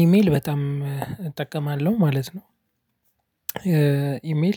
ኢሜል በጣም እጠቀማለሁ ማለት ነው። ኢሜል